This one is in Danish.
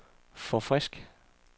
forfrisk